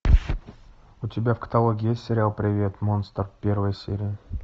у тебя в каталоге есть сериал привет монстр первая серия